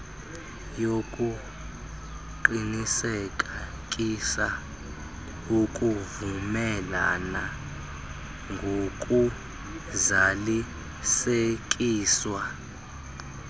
yokuqinisekisa ukuvumelana ngokuzalisekiswa